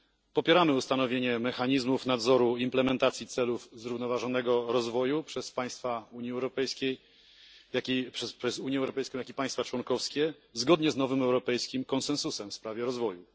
Popieramy ustanowienie mechanizmów nadzoru implementacji celów zrównoważonego rozwoju przez Unię Europejską, jak i państwa członkowskie, zgodnie z nowym europejskim konsensusem w sprawie rozwoju.